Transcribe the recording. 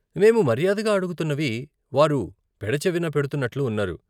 మేము మర్యాదగా అడుగుతున్నవి వారు పెడచెవిన పెడుతున్నట్లు ఉన్నారు.